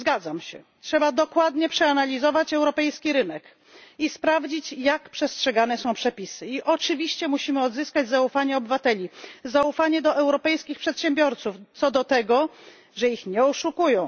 Zgadzam się trzeba dokładnie przeanalizować europejski rynek i sprawdzić, jak przestrzegane są przepisy, i oczywiście musimy odzyskać zaufanie obywateli, zaufanie do europejskich przedsiębiorców, co do tego, że ich nie oszukują.